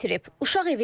Uşaq evində böyüyüb.